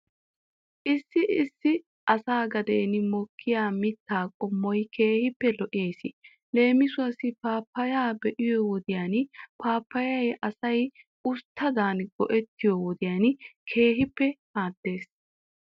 Issi issi asaa gaden mokkiyaa mitaa qommoy keehippe lo'ees. Leemisuwaasi paappaya be'iyoo wodiyan paappayaa asay usttadan go'ettiyoo wodiyan keehippe maaddes.